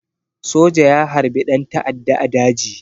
Soja ya harbi ɗan ta'adda a daji